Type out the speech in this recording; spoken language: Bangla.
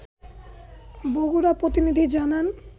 বগুড়া প্রতিনিধি জানান